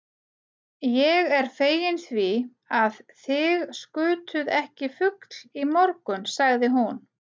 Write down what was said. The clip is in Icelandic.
Ég er fegin því, að þig skutuð ekki fugl í morgun sagði hún.